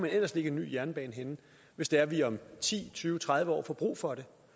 ellers lægge en ny jernbane hvis det er vi om ti tyve tredive år får brug for